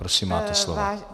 Prosím, máte slovo.